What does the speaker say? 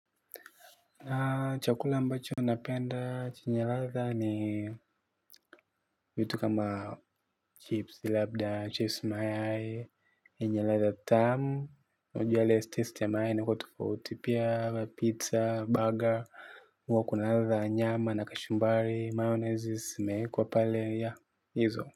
Na chakula ambacho napenda chenye ladha ni vitu kama chips, labda chips mayai, zina ladha tamu. Ujue ladha ya mayai ni tofauti pia. Pizza, burger, huwa kuna ladha ya nyama na kachumbari, mayonnaise inakuwa imeekwa pale, yeah, hizo.